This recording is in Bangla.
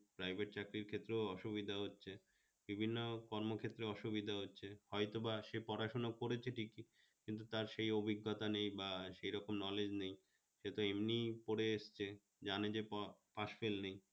privet চাকরির ক্ষেত্রে ও অসুবিধা হচ্ছে, বিভিন্ন কর্ম ক্ষেত্রে অসুবিধা হচ্ছে, হয়তোবা সে পড়াশোনা করেছে ঠিকই কিন্তু তার সেইরকম অভিজ্ঞতা নেই বা সেরকম knowledge নেয়, সে তো এমনি পড়ে এসছে জানে যে প pass-fail নেয়